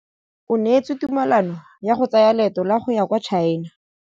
O neetswe tumalanô ya go tsaya loetô la go ya kwa China.